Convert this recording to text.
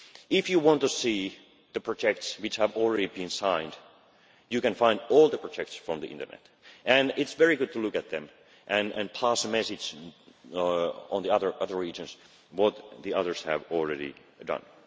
way. If you want to see the projects which have already been signed, you can find all the projects on the internet. It is very good to look at them and pass the message on to the other regions about what the others have already